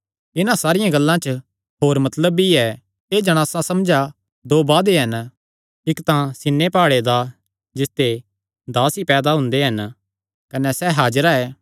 इन्हां सारियां गल्लां च होर मतलब भी ऐ एह़ जणासां समझा दो वादे हन इक्क तां सीनै प्हाड़े दा जिसते दास ई पैदा हुंदे हन कने सैह़ हाजिरा ऐ